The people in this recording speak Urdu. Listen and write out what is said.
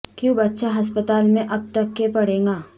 کیوں بچہ ہسپتال میں اب تک کے پڑے گا